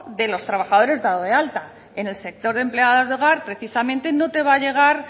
de los trabajadores dados de alta en el sector de empleadas de hogar precisamente no te va a llegar